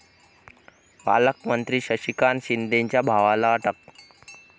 पालकमंत्री शशिकांत शिंदेंच्या भावाला अटक